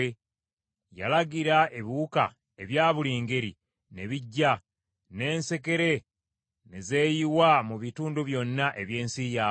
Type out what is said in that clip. Yalagira, ebiwuka ebya buli ngeri ne bijja, n’ensekere ne zeeyiwa mu bitundu byonna eby’ensi yaabwe.